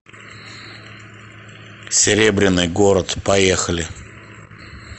серебряный город поехали